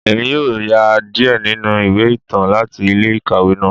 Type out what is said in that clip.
Emi yoo ya diẹ ninu iwe itan lati ile-ikawe naa.